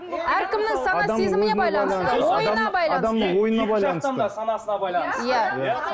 әркімнің сана сезіміне байланысты ойына байланысты адамның ойына байланысты санасына байланысты иә